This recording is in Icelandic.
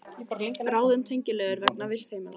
Ráðin tengiliður vegna vistheimila